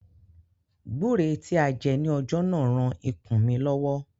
Gbúre tí a jẹ ní ọjọ́ náà ran ikùn mí lọ́wọ́.